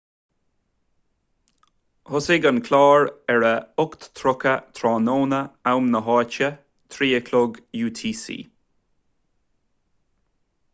thosaigh an clár ar a 8.30 tráthnóna am na háite 15.00 utc